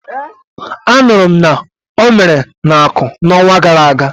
A nụrụ m na o mere n'Aku, n'onwa gara aga.